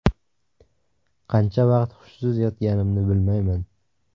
Qancha vaqt hushsiz yotganimni bilmayman.